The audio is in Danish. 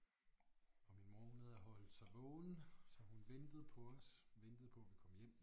Og min mor hun havde holdt sig vågen så hun ventede på os ventede på vi kom hjem